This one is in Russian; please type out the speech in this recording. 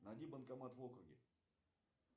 найди банкомат в округе